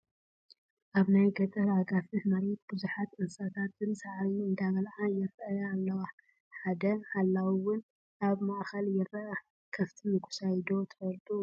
ኣብ ናይ ገጠር ኣጋፍሕ መሬት ብዙሓት እንስሳታት ሳዕሪ አንዳበልዓ ይራኣያ ኣለዋ፡፡ ሓደ ሓላዊ ውን ኣብ ማእኸለን ይረአ፡፡ ከፍቲ ምጉሳይ ዶ ትፈልጡ?